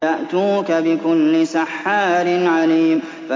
يَأْتُوكَ بِكُلِّ سَحَّارٍ عَلِيمٍ